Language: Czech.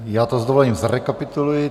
Já to s dovolením zrekapituluji.